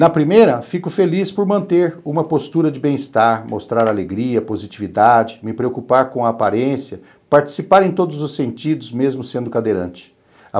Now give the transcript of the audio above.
Na primeira, fico feliz por manter uma postura de bem-estar, mostrar alegria, positividade, me preocupar com a aparência, participar em todos os sentidos, mesmo sendo cadeirante.